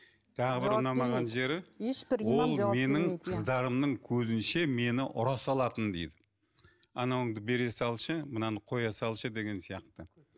тағы бір ұнамаған жері ешбір ол менің қыздарымның көзінше мені ұра салатын дейді анауыңды бере салшы мынаны қоя салшы деген сияқты